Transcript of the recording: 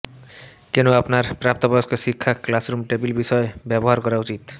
কেন আপনার প্রাপ্তবয়স্ক শিক্ষা ক্লাসরুম টেবিল বিষয় ব্যবহার করা উচিত